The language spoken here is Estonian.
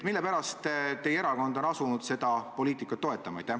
Mille pärast teie erakond on asunud seda poliitikat toetama?